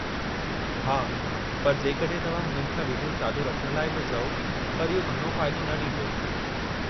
हा, पर जेकॾहिं तव्हां हुननि खां विडियो चालू रखण लाइ बि चओ पर इहो घणो फ़ाइदो न ॾींदो।